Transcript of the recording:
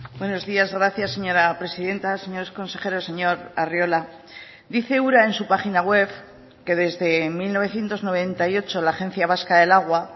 buenos días gracias señora presidenta señores consejeros señor arriola dice ura en su página web que desde mil novecientos noventa y ocho la agencia vasca del agua